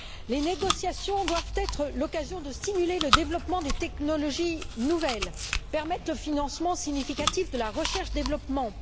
Les négociations doivent être l'occasion de stimuler le développement des technologies nouvelles, permettre le financement significatif de la recherche développement.